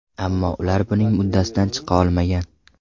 Ammo ular buning uddasidan chiqa olmagan.